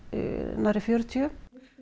nærri fjörutíu